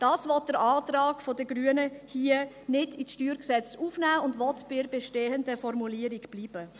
Dies will der Antrag der Grünen hier nicht ins StG aufnehmen, und er will bei der bestehenden Formulierung bleiben.